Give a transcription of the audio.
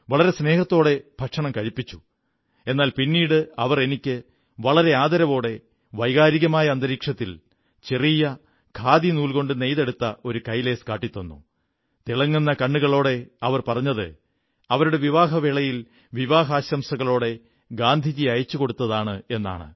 വളരെ മമതയോടെ എന്നെ ഭക്ഷണം കഴിപ്പിച്ചു എന്നാൽ പിന്നിട് അവർ എനിക്ക് വളരെ ആദരവോടെ വൈകാരികമായ അന്തരീക്ഷത്തിൽ ചെറിയ ഖാദിനൂൽകൊണ്ടു നെയ്തെടുത്ത കൈലേസ് കാട്ടിത്തന്നു തിളങ്ങുന്ന കണ്ണുകളോടെ പറഞ്ഞത് അവരുടെ വിവാഹവേളയിൽ വിവാഹാശംസകളോടെ ഗാന്ധിജി അയച്ചു കൊടുത്തതാണെന്നാണ്